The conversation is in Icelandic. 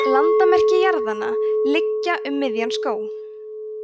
landamerki jarðanna liggja um miðjan skóg